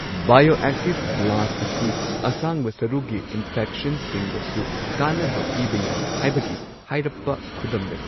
Bioactive glass ꯑꯁꯤ ꯑꯁꯥꯡꯕ ꯁꯔꯨꯒꯤ ꯏꯟꯐꯦꯛꯁꯟꯁꯤꯡꯗꯁꯨ ꯀꯥꯟꯅꯕ ꯄꯤꯕ ꯌꯥꯏ ꯍꯥꯏꯕꯒꯤ ꯍꯥꯏꯔꯞꯄ ꯈꯨꯗꯝ ꯂꯩ꯫